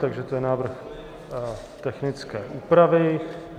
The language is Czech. Takže to je návrh technické úpravy.